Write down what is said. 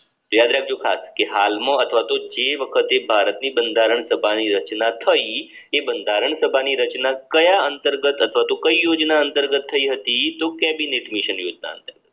યાદ રાખજો ખાસ કે હાલમાં અથવા તો જે વખતે ભારતની બંધારણ સભાની રચના થઈ તે બંધારણ સભાની રચના કયા અંતર્ગત અથવા તો કઈ યોજના અંતર્ગત થઈ હતી? તો કેબિનેટ મિશન યોજના